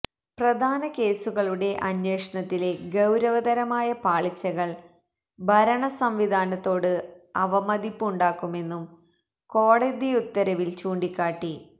പ്രധാന കേസുകളുടെ അന്വേഷണത്തിലെ ഗൌരവതരമായ പാളിച്ചകൾ ഭരണ സംവിധാനത്തോട് അവമതിപ്പ് ഉണ്ടാക്കുമെന്നും കോടതിയുത്തരവില് ചൂണ്ടികാട്ടി